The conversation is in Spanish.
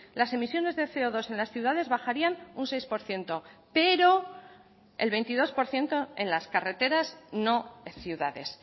las emisiones de ce o dos en las ciudades bajarían un seis por ciento pero el veintidós por ciento en las carreteras no ciudades